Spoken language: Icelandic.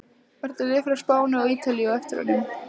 Eru lið frá Spáni og Ítalíu á eftir honum?